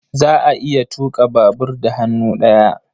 Za a iya tuƙa babur da hannu ɗaya.